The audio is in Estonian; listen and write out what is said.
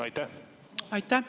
Aitäh!